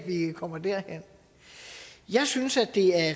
vi kommer derhen jeg synes det er